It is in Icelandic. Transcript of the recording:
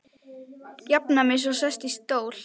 Jafna mig svo og sest í stól.